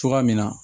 Cogoya min na